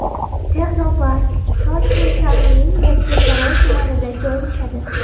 Texnopark Toshkent shahrining Yakkasaroy tumanida joylashadi.